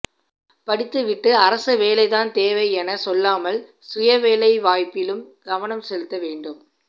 படித்துவிட்டு அரசவேலை தான் தேவை என செல்லாமல் சுயவேலை வாய்ப்பிலும் கவனம் செலுத்த வேண்டும்